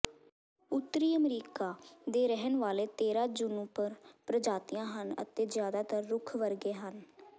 ਉੱਤਰੀ ਅਮਰੀਕਾ ਦੇ ਰਹਿਣ ਵਾਲੇ ਤੇਰਾਂ ਜੂਨੂਪਰ ਪ੍ਰਜਾਤੀਆਂ ਹਨ ਅਤੇ ਜ਼ਿਆਦਾਤਰ ਰੁੱਖ ਵਰਗੇ ਹਨ